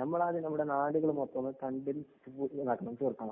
നമ്മളാദ്യം നമ്മുടെ നാടുകള്‍ മൊത്തം കണ്ടും ഇതാക്കണം. തീര്‍ക്കണം.